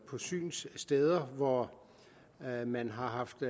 på synssteder hvor man har haft